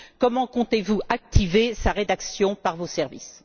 Comment comptez vous activer sa rédaction par vos services?